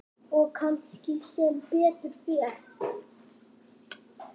Og kannski sem betur fer.